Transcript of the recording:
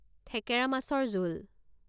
থেকেৰা মাছৰ জোল